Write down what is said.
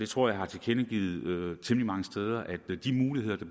tror jeg har tilkendegivet temmelig mange steder at de muligheder der